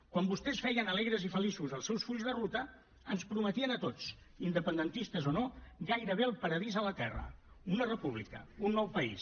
quan vostès feien alegres i feliços els seus fulls de ruta ens prometien a tots independentistes o no gairebé el paradís a la terra una república un nou país